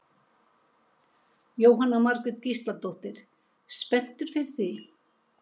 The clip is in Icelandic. Jóhanna Margrét Gísladóttir: Spenntur fyrir því?